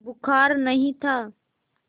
बुखार नहीं था